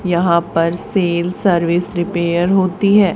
यहां पर cell service repair होती है।